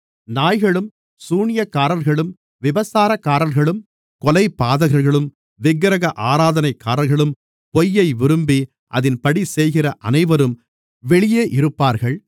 நாய்களும் சூனியக்காரர்களும் விபசாரக்காரர்களும் கொலைபாதகர்களும் விக்கிரக ஆராதனைக்காரர்களும் பொய்யை விரும்பி அதின்படி செய்கிற அனைவரும் வெளியே இருப்பார்கள்